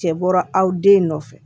Cɛ bɔra aw den nɔfɛ